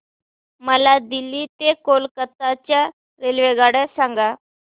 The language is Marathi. मला दिल्ली ते कोलकता च्या रेल्वेगाड्या सांगा